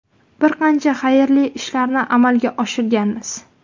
Bir qancha xayrli ishlarni ham amalga oshirganmiz.